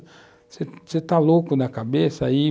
Você está louco da cabeça? Aí,